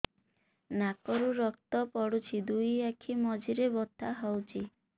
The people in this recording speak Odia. ନାକରୁ ରକ୍ତ ପଡୁଛି ଦୁଇ ଆଖି ମଝିରେ ବଥା ହଉଚି